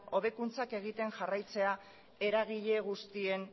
hobekuntzak egiten jarraitzea eragile guztien